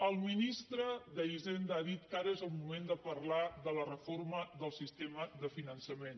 el ministre d’hisenda ha dit que ara és el moment de parlar de la reforma del sistema de finançament